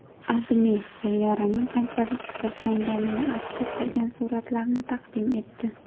AdMe sayyoraning qanchalik ifloslanganini aks ettirgan suratlarni taqdim etdi .